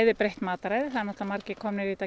breytt matarræði margir komnir í þetta